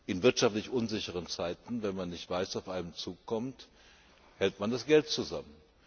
In wirtschaftlich unsicheren Zeiten, wenn man nicht weiß, was auf einen zukommt, hält man das Geld zusammen.